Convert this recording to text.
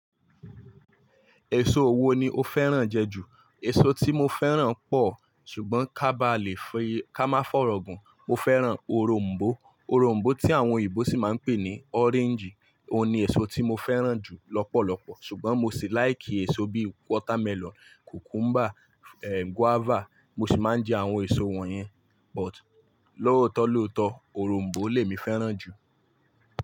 Èso wo ni o fẹ́ràn jẹ jù? Èso tí mo fẹ́ràn pọ̀ ṣùgbọ́n ká bá lè fi ká má fọ̀rọ̀ gun, mo fẹ́ràn òrom̀bó. Òrom̀bó tí àwọn eyinbo sì máa ń pè ní orange, òun ni èso tí mo fẹ́ràn jù lọ́pọ̀lọpọ̀. Ṣùgbọ́n mo sì láìkì èso bíì watermelon, cucumber, ehn guava, mo sì máa ń jẹ àwọn èso wọ̀nyẹn. But lóòtó lóòtó. Òrom̀bó ni èmi fẹ́ràn jù.